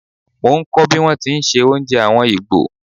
Mo ń kọ̀ bí wón ti ń se oúnjẹ àwọn Ìgbò.